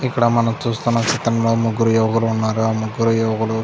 ఇక్కడ మనం చూస్తున్న చిత్రంలో ముగ్గురు యువకులు ఉన్నారు. ఆ ముగ్గురు యువకులు --